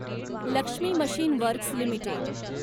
Lakshmi machine works limited